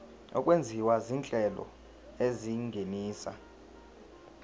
okwenziwa izinhlelo ezingenisa